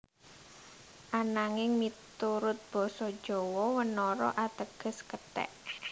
Ananging miturut Basa Jawa wanara ateges kethek